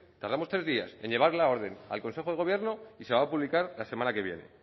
tardamos tres días en llevar la orden al consejo de gobierno y se va a publicar la semana que viene